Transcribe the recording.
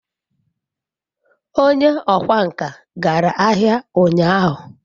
onye okwá nkà gara ahia unyahu